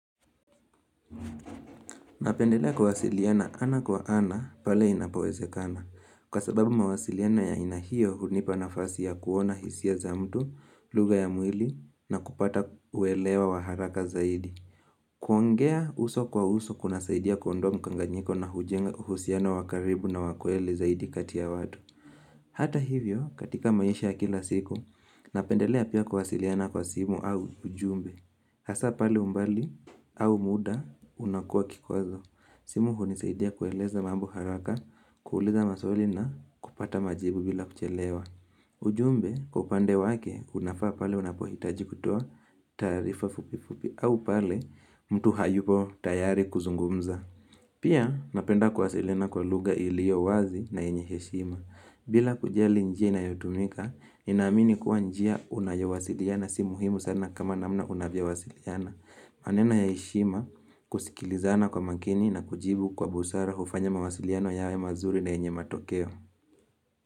Napendelea kuwasiliana ana kwa ana pale inapowezekana. Kwa sababu mawasiliano ya ina hiyo hunipa nafasi ya kuona hisia za mtu, lugha ya mwili na kupata uelewa wa haraka zaidi. Kuongea uso kwa uso kuna saidia kundoa mkanganyiko na hujenga uhusiano wakaribu na wa kweli zaidi kati ya watu. Hata hivyo katika maisha kila siku, napendelea pia kuwasiliana kwa simu au ujumbe. Hasa pale umbali au muda unakua kikwazo. Simu hunisaidia kueleza mambo haraka, kuuliza maswali na kupata majibu bila kuchelewa. Ujumbe, kwa upande wake, unafaa pale unapohitaji kutoa taarifa fupi fupi au pale mtu hayupo tayari kuzungumza. Pia, napenda kuwasilina kwa lugha ilio wazi na yenye heshima. Bila kujali njia inayotumika, ninaamini kuwa njia unayowasiliana si muhimu sana kama namna unayowasiliana. Maneno ya heshima kusikilizana kwa makini na kujibu kwa busara hufanya mawasiliano yawe mazuri na yenye matokeo.